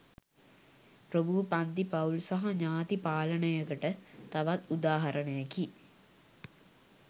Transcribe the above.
ප්‍රභූ පංති පවුල් සහ ඥාති පාලනයකට තවත් උදාහරණයකි